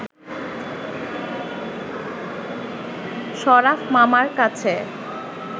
শরাফ মামার কাছে